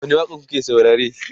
wani waƙa n kuke saurare?